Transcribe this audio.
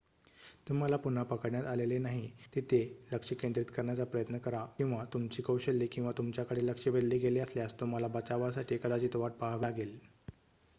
तुम्हाला पुन्हा पकडण्यात आलेले नाही तिथे लक्ष केंद्रित करण्याचा प्रयत्न करा किंवा तुमची कौशल्ये किंवा तुमच्याकडे लक्ष वेधले गेले असल्यास तुम्हाला बचावासाठी कदाचित वाट पाहावी लागेल